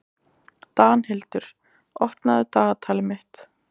Danhildur, opnaðu dagatalið mitt.